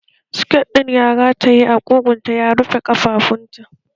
Siket ɗin ya rataye a ƙugunta ya rufe ƙafafunta